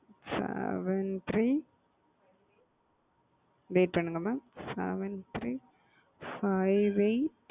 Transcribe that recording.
Seven three wait பண்ணுங்க mam seven three five eight